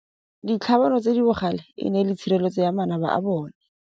Ditlhabanô tse di bogale e ne e le tshirêlêtsô ya manaba a bone.